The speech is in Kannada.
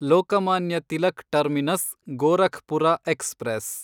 Lokmanya Tilak terminus Gorakhpur express